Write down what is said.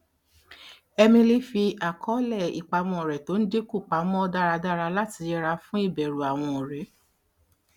emily fi àkọọlẹ ìpamọ rẹ tó ń dínkù pa mọ dáradára láti yẹra fún ìbẹrù àwọn ọrẹ